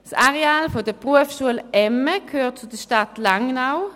Das Areal des bz emme gehört zur Stadt Langnau.